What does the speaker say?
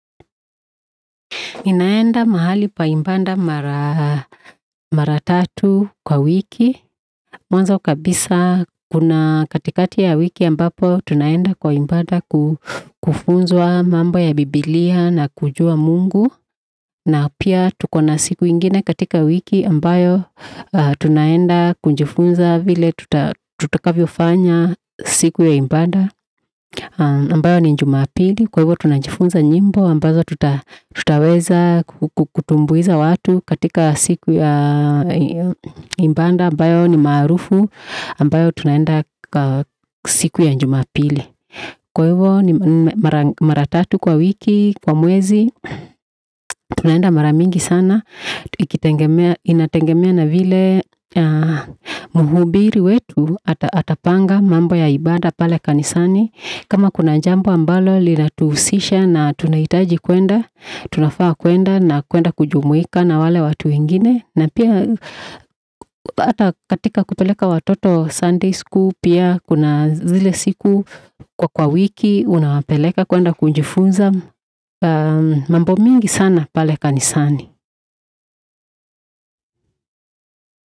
Ninaenda mahali pa ibada mara tatu kwa wiki. Mwanzo kabisa kuna katikati ya wiki ambapo tunaenda kwa ibada kufunzwa mambo ya bibilia na kujua mungu. Na pia tuko na siku ingine katika wiki ambayo tunaenda kujifunza vile tutakavyofanya siku ya ibada. Ambayo ni jumapili, kwa hivyo tunajifunza nyimbo ambazo tutaweza kutumbuiza watu katika siku ya ibada. Ambayo ni maarufu, ambayo tunaenda siku ya jumapili. Kwa hivyo mara tatu kwa wiki, kwa mwezi, tunaenda mara mingi sana ikitegemea Inategemea na vile mhubiri wetu atapanga mambo ya ibada pale kanisani. Kama kuna jambo ambalo linatuhusisha na tunahitaji kuenda, tunafaa kuenda na kuenda kujumuika na wale watu wengine. Na pia hata katika kupeleka watoto Sunday school pia kuna zile siku kwa wiki, unawapeleka kuenda kujifunza. Mambo mingi sana pale kanisani.